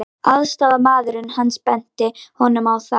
Aðstoðarmaðurinn hans benti honum á það.